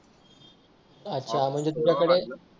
अच्छा म्हणजे तुझ्याकडे